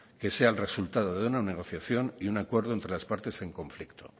que sea el resultado de una negociación y un acuerdo entre las partes en conflicto